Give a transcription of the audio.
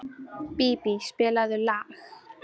Bíbí, spilaðu lag.